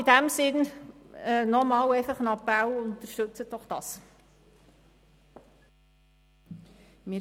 In diesem Sinn appelliere ich noch einmal: Unterstützen Sie das doch!